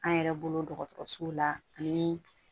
An yɛrɛ bolo dɔgɔtɔrɔsow la ani